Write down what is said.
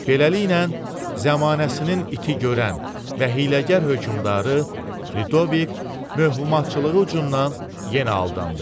Beləliklə, zəmanəsinin iti görən və hiyləgər hökmdarı Lüdovik mövhümatçılığı ucundan yenə aldandı.